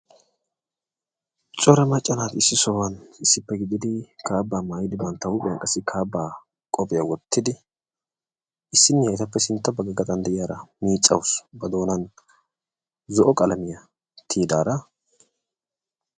Cora macca naati issi sohuwan issippe gidid kaabba maayyidi bantta huuphiyan qassi kaabba qophiyaa wottidi, issiniya etappe sintta bagga gaxxan de'iyaara miccawus ba doonan zo'o qalamiya tiyyidaara.